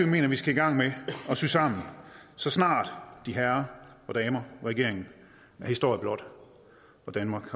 mener vi skal i gang med at sy sammen så snart de herrer og damer regeringen er historie blot og danmark